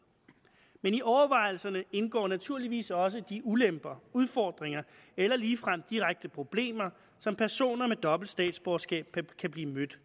men i overvejelserne indgår naturligvis også de ulemper udfordringer eller ligefrem direkte problemer som personer med dobbelt statsborgerskab kan blive mødt